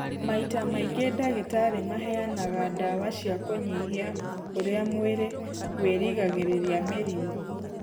Maita maingĩ ndagĩtarĩ maheanaga ndawa cia kũnyihia ũrĩa mwĩrĩ wĩrigagĩrĩria mĩrimũ.